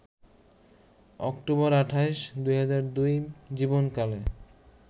October ২৮, ২০০২ জীবন কালে